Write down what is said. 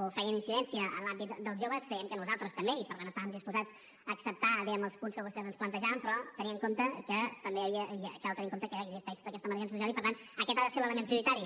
o feien incidència en l’àmbit del joves creiem que nosaltres també i per tant estàvem disposats a acceptar els punts que vostès ens plantejaven però cal tenir en compte que existeix tota aquesta emergència social i per tant aquest ha de ser l’element prioritari